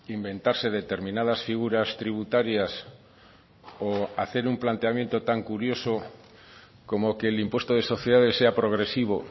inventarse determinadas figuras tributarias o hacer un planteamiento tan curioso como que el impuesto de sociedades sea progresivo